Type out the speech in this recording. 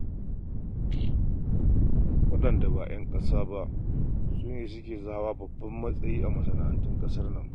Waɗanda ba ƴan ƙasa ba su ne suke za.. hawa babban matsayi a masana'antun ƙasar nan.